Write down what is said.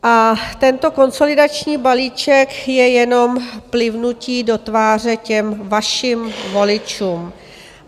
A tento konsolidační balíček je jenom plivnutím do tváře těm vašim voličům.